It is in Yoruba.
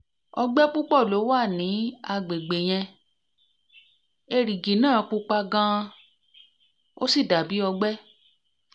ọgbẹ́ púpọ̀ ló wà ní àgbègbè yẹn erigijẹ́ naa pupa gan-an ó sì dà bí ọgbẹ